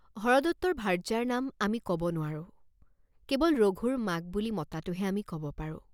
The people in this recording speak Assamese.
হৰদত্তৰ ভাৰ্য্যাৰ নাম আমি কব নোৱাৰোঁ, কেৱল "ৰঘুৰ মাক" বুলি মতাটোহে আমি কব পাৰোঁ।